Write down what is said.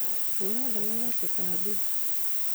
Hũra ndawa ya tũtambi